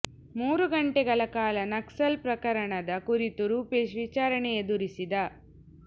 ಮೂರು ಗಂಟೆಗಳ ಕಾಲ ನಕ್ಸಲ್ ಪ್ರಕರಣದ ಕುರಿತು ರೂಪೇಶ್ ವಿಚಾರಣೆ ಎದುರಿಸಿದ